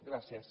gràcies